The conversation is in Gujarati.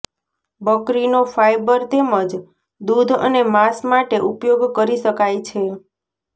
બકરીનો ફાયબર તેમજ દૂધ અને માંસ માટે ઉપયોગ કરી શકાય છે